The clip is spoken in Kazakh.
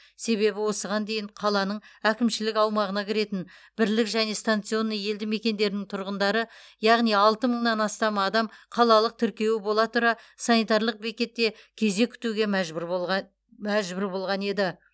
себебі осыған дейін қаланың әкімшілік аумағына кіретін бірлік және станционный елді мекендерінің тұрғындары яғни алты мыңнан астам адам қалалық тіркеуі бола тұра санитарлық бекетте кезек күтуге мәжбүр болған еді